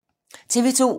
TV 2